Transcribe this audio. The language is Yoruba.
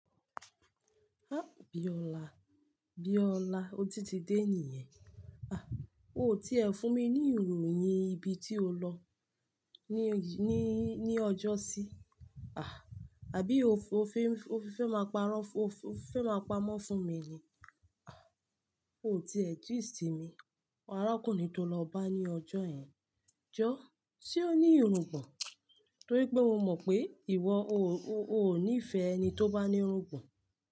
Ah! Bíọ́lá, Bíọ́lá otí ti dé nìyẹn. Ah! O tí ẹ fún mi ní ìròyìn ibi tí o lọ ní, ní, ní ọjọ́sí. Ah! Àbí o fẹ́, o fẹ́ máa pamọ́ fún mi ni? Ah! O tí ẹ gist mi. Arákùnrin tó lọ bá ní ọjọ́ yen, jọ́, ṣe ó ní irungbọ̀n? Torí pé mo mọ̀ pé ìwọ o ò, o ò nífẹ̀ẹ́ ẹni tó bá ní irungbọ̀n.